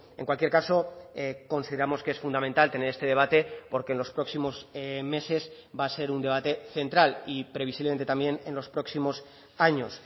en cualquier caso consideramos que es fundamental tener este debate porque en los próximos meses va a ser un debate central y previsiblemente también en los próximos años